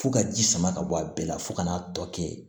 Fo ka ji sama ka bɔ a bɛɛ la fo ka n'a tɔ kɛ